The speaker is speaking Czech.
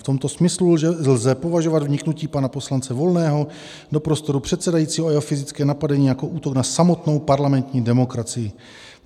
V tomto smyslu lze považovat vniknutí pana poslance Volného do prostoru předsedajícího a jeho fyzické napadení jako útok na samotnou parlamentní demokracii.